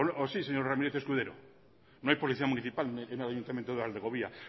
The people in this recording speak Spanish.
o sí señor ramírez escudero no hay policía municipal en el ayuntamiento de valdegovía